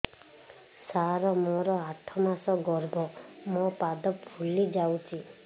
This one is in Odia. ସାର ମୋର ଆଠ ମାସ ଗର୍ଭ ମୋ ପାଦ ଫୁଲିଯାଉଛି